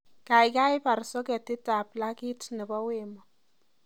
Gaigai baar soketitab plakit nebo wemo